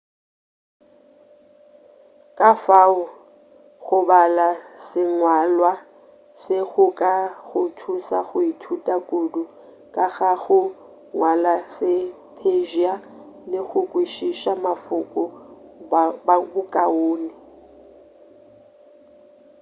ka fao go bala sengwalwa se go ka go thuša go ithuta kudu ka ga go ngwala se-persia le go kwešiša mafoko bokaone